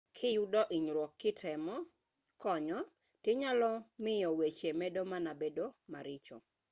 kiyudo hunyruok kitemo konyo to inyalo miyo weche medo mana bedo maricho